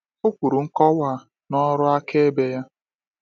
O kwuru nkọwa a n’ọrụ akaebe ya.